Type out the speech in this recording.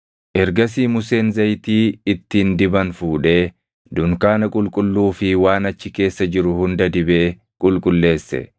Ergasii Museen zayitii ittiin diban fuudhee dunkaana qulqulluu fi waan achi keessa jiru hunda dibee qulqulleesse.